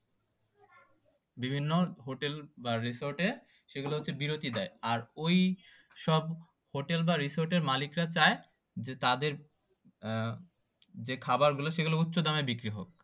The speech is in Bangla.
বিভিন্ন হোটেল বা রিসোর্ট এ বিরতি দেয় আর ওইসব হোটেল বা রিসোর্ট এর মালিকরা চায় যে তাদের যে খাবার গুলা সেগুলা উচ্চ দামে বিক্রি হোক